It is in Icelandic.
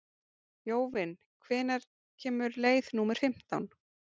Jóvin, hvenær kemur leið númer fimmtán?